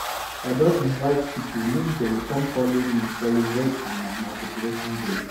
i don invite pipo make dem come folo me celebrate for my matriculation day